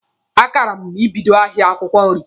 A kara m ibido ahịa akwụkwọ nri.